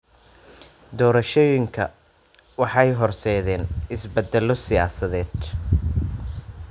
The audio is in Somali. Doorashooyinku waxay horseedeen isbeddello siyaasadeed.